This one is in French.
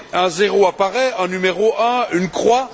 Un zéro apparaît, un numéro un, une croix